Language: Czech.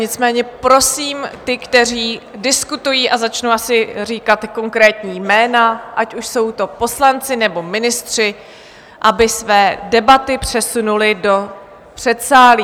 Nicméně prosím ty, kteří diskutují - a začnu asi říkat konkrétní jména, ať už jsou to poslanci, nebo ministři - aby své debaty přesunuli do předsálí.